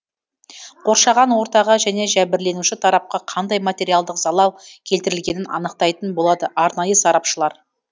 қоршаған ортаға және жәбірленуші тарапқа қандай материалдық залал келтірілгенін анықтайтын болады арнайы сарапшылар